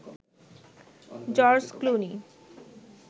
George Clooney